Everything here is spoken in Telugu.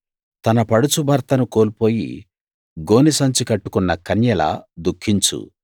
తన పడుచు భర్తను కోల్పోయి గోనెసంచి కట్టుకున్న కన్యలా దుఖించు